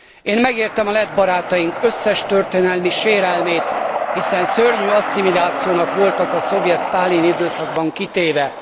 Én megértem lett barátaink összes történelmi sérelmét, hiszen szörnyű asszimilációnak voltak a szovjet sztálini időszakban kitéve.